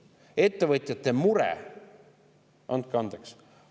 Ettevõtjate mure – andke andeks!